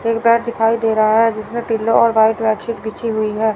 एक बेड दिखाई दे रहा है जिसमें पिलो और व्हाइट बेडसीट बीछी हुई है।